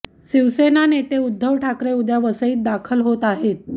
शिवसेना नेते उद्धव ठाकरे उद्या वसईत दाखल होत आहेत